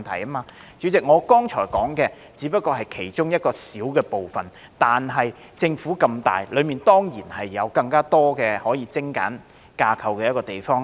代理主席，我剛才提到的只不過是其中一個小部分，但政府這麼大，內部當然有更多可以精簡架構之處。